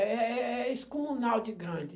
É é é isso com um grande.